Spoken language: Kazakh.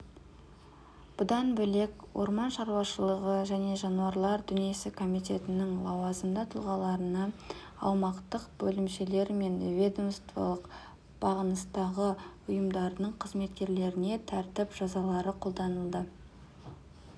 бұдан бөлек орман шаруашылығы және жануарлар дүниесі комитетінің лауазымды тұлғаларына аумақтық бөлімшелері мен ведомстволық бағыныстағы ұйымдарының қызметкерлеріне тәртіп жазалар қолданылды